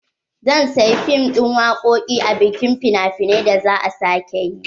zan saya fim din waƙoƙi a bikin fina finai da za'a sake yi.